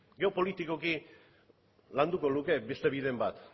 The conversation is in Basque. edo politikoki landuko luke beste bideren bat